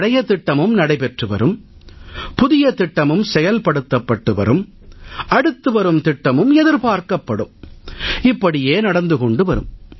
பழைய திட்டமும் நடைபெற்று வரும் புதிய திட்டமும் செயல்படுத்தப்பட்டு வரும் அடுத்து வரும் திட்டமும் எதிர்பார்க்கப்படும் இப்படியே நடந்து கொண்டு வரும்